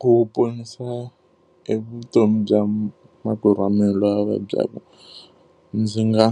Ku ponisa evutomi bya makwerhu wa mina loyi a vabyaka, ndzi nga